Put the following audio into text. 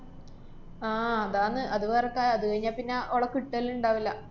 ആഹ് അതാണ്, അത് വേറെ കാ~ അത് കയിഞ്ഞാപ്പിന്ന ഓളെ കിട്ടല്ണ്ടാവില്ല.